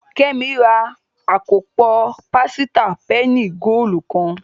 Kemi rà akopọ pasita penny goolu kán